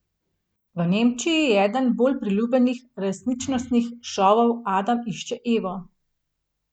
V Nemčiji je eden bolj priljubljenih resničnostnih šovov Adam išče Evo.